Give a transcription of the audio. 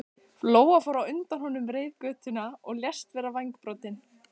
Lóa fór á undan honum reiðgötuna og lést vera vængbrotin.